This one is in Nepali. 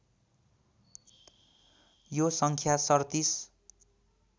यो सङ्ख्या ३७